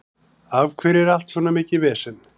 Af hverju er allt svona mikið vesen?